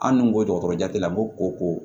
An dun ko dɔgɔtɔrɔya tigi la ko ko ko